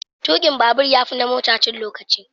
Tukin babur ya fi na mota cin lokaci.